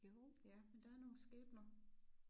Jo ja men der er nogle skæbner